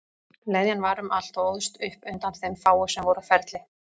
Leðjan var um allt og óðst upp undan þeim fáu sem voru á ferli.